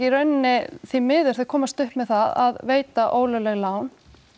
rauninni því miður þau komast upp með það að veita ólögleg lán